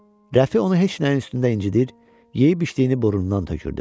Rəfi onu heç nəyin üstündə incidər, yeyib-içdiyini burnundan tökürdü.